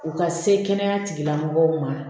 U ka se kɛnɛya tigilamɔgɔw ma